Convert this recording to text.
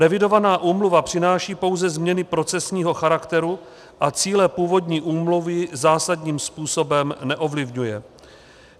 Revidovaná úmluva přináší pouze změny procesního charakteru a cíle původní úmluvy zásadním způsobem neovlivňuje.